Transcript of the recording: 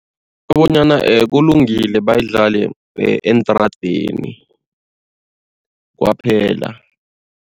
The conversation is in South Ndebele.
Kubonyana kulungile bayidlale eentradeni kwaphela.